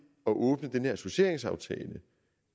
at åbne den her associeringsaftale